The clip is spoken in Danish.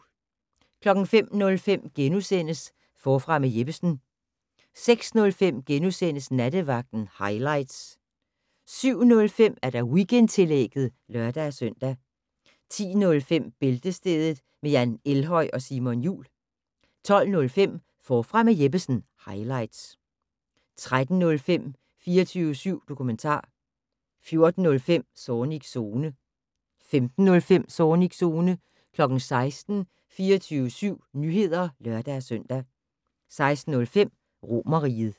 05:05: Forfra med Jeppesen * 06:05: Nattevagten highlights * 07:05: Weekendtillægget (lør-søn) 10:05: Bæltestedet med Jan Elhøj og Simon Jul 12:05: Forfra med Jeppesen - highlights 13:05: 24syv dokumentar 14:05: Zornigs Zone 15:05: Zornigs Zone 16:00: 24syv Nyheder (lør-søn) 16:05: Romerriget